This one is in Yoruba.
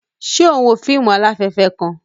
Ṣe o n wo fíìmù alafẹfẹ kàn?